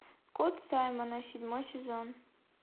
кот саймона седьмой сезон